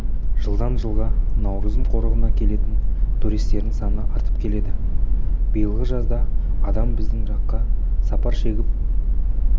жылдан жылға науырзым қорығына келетін туристердің саны артып келеді биылғы жазда адам біздің жаққа сапар шегіп